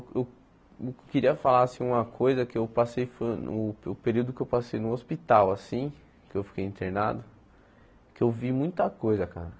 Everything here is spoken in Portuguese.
Eu eu queria falar assim uma coisa que eu passei foi o, o período que eu passei no hospital, assim, que eu fiquei internado, que eu vi muita coisa, cara.